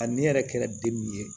A ne yɛrɛ kɛra den min ye